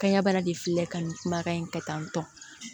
Kanɲɛ bana de filɛ ka nin kumakan in kɛ tan tɔ